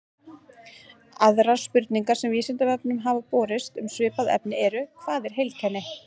Aðrar spurningar sem Vísindavefnum hafa borist um svipað efni eru: Hvað er heilkenni?